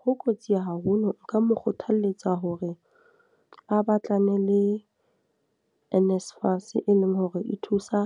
Ho kotsi haholo. Nka mo kgothaletsa hore a batlane le NSFAS e leng hore e thusa